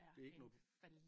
Det er ikke noget